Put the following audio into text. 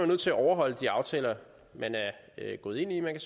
nødt til at overholde de aftaler man er gået ind i man